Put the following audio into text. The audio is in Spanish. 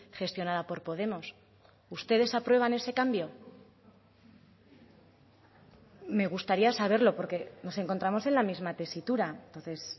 gestionada por podemos ustedes aprueban ese cambio me gustaría saberlo porque nos encontramos en la misma tesitura entonces